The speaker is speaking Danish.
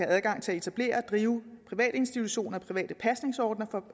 adgang til at etablere og drive private institutioner private pasningsordninger